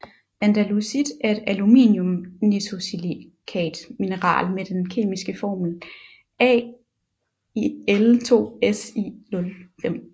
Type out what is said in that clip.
Andalusit er et aluminium nesosilicate mineral med den kemiske formel Al2SiO5